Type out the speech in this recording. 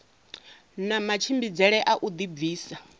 na matshimbidzele a u dibvisa